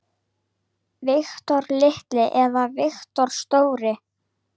Viktor litli eða Victor stóri?